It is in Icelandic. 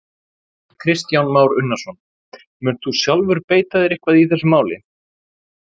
Kristján Már Unnarsson: Munt þú sjálfur beita þér eitthvað í þessu máli?